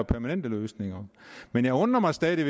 permanent løsning men jeg undrer mig stadig